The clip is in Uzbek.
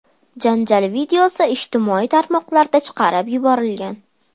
Janjal videosi ijtimoiy tarmoqlarga chiqarib yuborilgan.